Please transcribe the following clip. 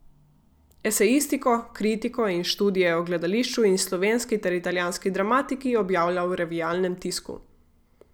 Esejistiko, kritiko in študije o gledališču in slovenski ter italijanski dramatiki objavlja v revijalnem tisku.